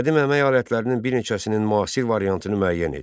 Qədim əmək alətlərinin bir neçəsinin müasir variantını müəyyən et.